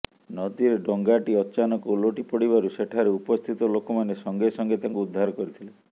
ନଦୀରେ ଡଙ୍ଗାଟି ଅଚାନକ ଓଲଟି ପଡିବାରୁ ସେଠାରେ ଉପସ୍ଥିତ ଲୋକମାନେ ସଙ୍ଗେସଙ୍ଗେ ତାଙ୍କୁ ଉଦ୍ଧାର କରିଥିଲେ